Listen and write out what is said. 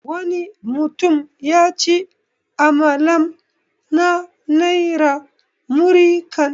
Wani mutum yaci amalam na naira 'Muri kan'.